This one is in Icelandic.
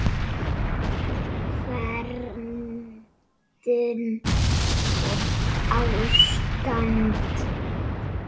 Verndun og ástand